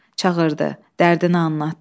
Çağırdı, dərdini anlatdı.